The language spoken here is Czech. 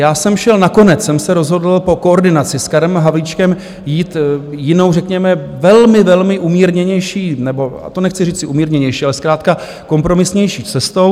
Já jsem šel - nakonec jsem se rozhodl po koordinaci s Karem Havlíčkem jít jinou, řekněme velmi, velmi umírněnější nebo - a to nechci říci, umírněnější, ale zkrátka kompromisnější - cestou.